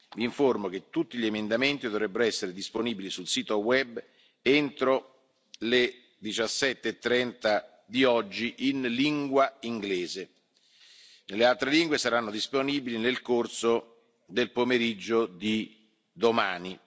Vi informo che tutti gli emendamenti dovrebbero essere disponibili sul sito web entro le 17.30 di oggi in lingua inglese. Nelle altre lingue saranno disponibili nel corso del pomeriggio di domani.